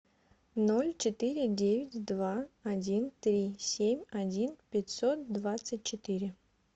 ноль четыре девять два один три семь один пятьсот двадцать четыре